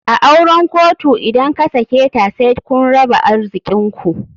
A auren kotu idan kasaketa said kun raba arzikinku.